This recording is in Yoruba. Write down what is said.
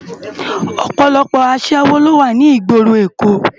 Òpòlòpò aṣèwó ló wá ni igbóró Ékó